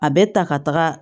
A bɛ ta ka taga